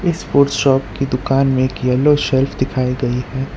Sport shop की दुकान में एक येलो सेल्फ दिखाई गई है।